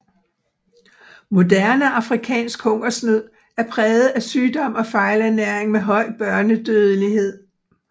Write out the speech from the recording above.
Moderne afrikansk hungersnød er præget af sygdom og fejlernæring med høj børnedødelighed